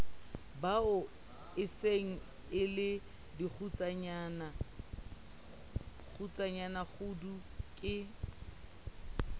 baokajeno e sengele dikgutsanakgudu ke